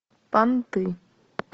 понты